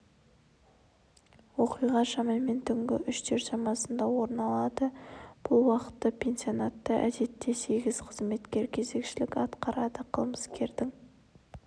оқиға шамамен түнгі үштер шамасында орын алды бұл уақытта пансионатта әдетте сегіз қызметкер кезекшілік атқарады қылмыскердің